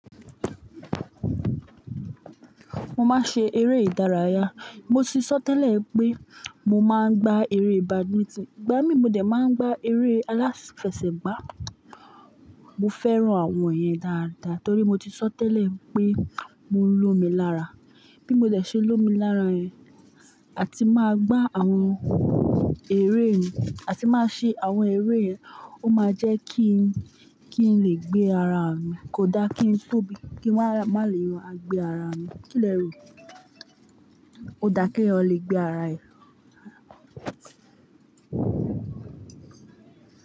Mo máa ń ṣe eré ìdárayá. Mo ti sọ́ tẹ́lẹ̀ pé mo máa ń gbá eré badminton, gba mi mo dẹ̀ máa ń gbá eré aláfẹsẹ̀gbá. Mo fẹ́ran àwọn yẹn dáadáa torí mo ti sọ́ tẹ́lẹ̀ pé mo ń lómi lára. Bí mo de se lómi lára yẹ̀n, a ti máa gbá àwọn eré mi, a ti máa ṣe àwọn eré yẹn, ó máa jẹ́ kí n, kí n lè gbé ara mi. Kò dá kí n tóbi, kí n má lè gbé ara mi. Kí lẹ̀ rí? Ó dá ki eyan lè gbé ara yan.